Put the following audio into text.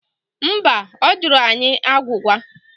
Mba, ọ jụrụ anyị agwụgwa